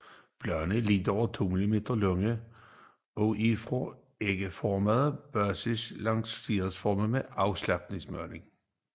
Bladene er lidt over 2 mm lange og er fra en ægformet basis lancetformet afsmalnende